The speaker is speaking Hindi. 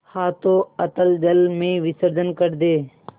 हाथों अतल जल में विसर्जन कर दे